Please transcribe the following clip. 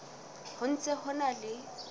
ho ntse ho na le